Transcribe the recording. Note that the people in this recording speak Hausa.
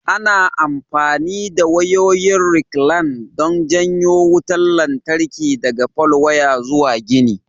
Ana amfani da wayoyin rekilan don janyo wutar lantarki daga falwaya zuwa gini.